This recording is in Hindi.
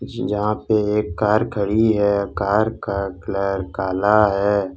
यहां पे एक कार खड़ी है कार का कलर काला है।